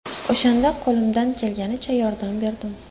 O‘shanda qo‘limdan kelganicha yordam berdim.